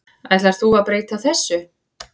Ætlar þú að breyta þessu?